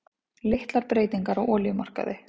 Litlar breytingar á olíumarkaði